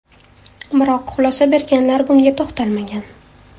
Biroq xulosa berganlar bunga to‘xtalmagan.